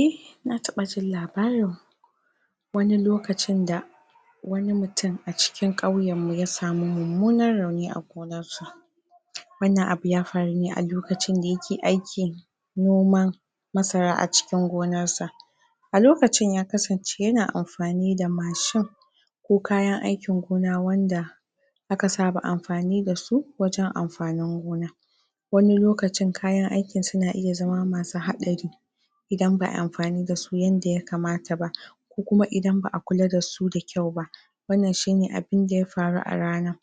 eh na taɓa jin labarin wani lokacin da wani mutum a cikin ƙauyen mu ya samu mummunan rauni a gonar sa wannan abu ya faru ne a lokacin da ya ke aikin noma masara a cikin gonar sa a lokacin ya kasance ya na amfani da mashin ko kayan aikin gona wanda aka saba amfani da su wajen amfanin gona wani lokacin kayan aikin suna iya zama masu haɗari idan ba'ayi amfani dasu yanda ya kamata ba ko kuma idan ba'a kula dasu da kyau ba wannan shine abinda ya faru a ranan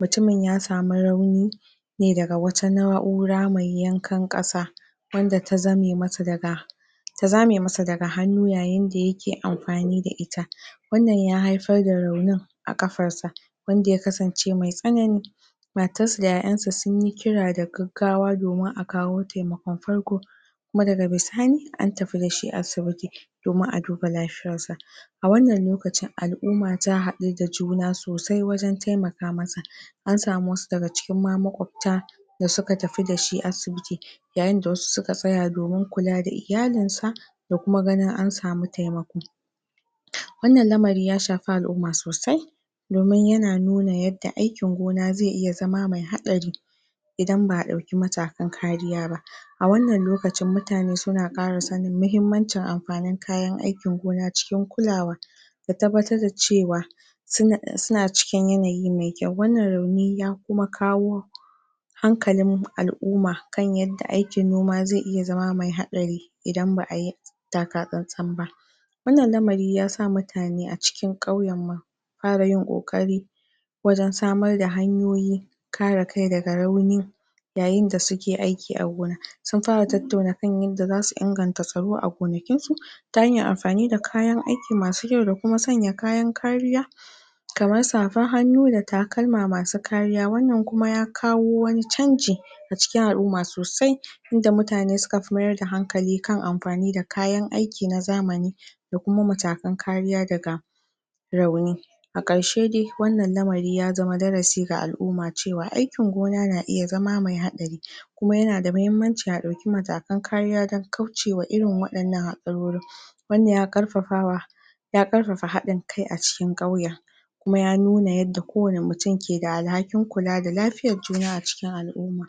mutumin ya samu rauni ne daga wata na'ura mai yankan ƙasa wanda ta zame mata daga ta zame masa daga hannu yayin da ya ke amfani da ita wannan ya haifar da raunin a ƙafar sa wanda ya kasance mai tsanani matar sa da 'ya 'yan sa sunyi kira da gaggawa domin a kawo taimakon farko kuma daga bisani an tafi da shi asibiti domin a duba lafiyar sa a wannan lokacin al'uma ta hadu da juna sosai wajen taimaka masa an samu wasu daga cikin ma makwabta da su ka tafi dashi asibiti yayin da wa su suka tsaya domin kula da iyalin sa ko kuma ganin an samu taimako wannan lamari ya shafi al'umma sosai domin yana nu na yadda aikin gona zai iya zama mai haɗari idan ba'a ɗauki matakan kariya ba a wannan lokacin mutane suna ƙara sanin muhimmanci amfanin kayan aikin gona cikin kulawa da tabbatar da cewa suna suna cikin yanayi mai kyau wannan rauni ya kuma kawo hankalin al'uma kan yadda aikin noma zai iya zama mai haɗari idan ba'a yi taka tsan tsan ba wannan lamari ya sa mutane a cikin ƙauyenmu ƙara yin ƙoƙari wajen samar da hanyoyi kare kai daga rauni yayin da su ke aiki a gona sun fara tattauna kan yanda zasu inganta tsaro a gonakin su ta hanyar amfani da kayan aiki masu kyau da kuma sanya kayan kariya kamar safar hannu da takalma masu kariya wannan kuma ya kawo wani canji a cikin al'umma sosai inda mutane suka fi mayar da hankali kan amfani da kayan aiki na zamani da kuma matakan kariya daga rauni a ƙarshe dai wannan lamari ya zama darasi ga al'uma cewa aikin gona na iya zama mai haɗari kuma yana da mahimmanci a ɗauki matakan kariya dan kaucewa irin waɗannan haɗarorin wannan ya ƙarfafawa ya ƙarfafa haɗin kai a cikin ƙauyen kuma ya nuna yadda kowane mutum ke da alhakin kula da lafiyar juna a cikin al'uma